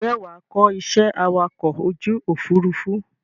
Ǹjẹ́ wàá kọ iṣẹ́ awakọ̀ ojú Òfurufú?